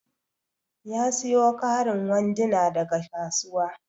Ya siyo karin sanduna daga kasuwa.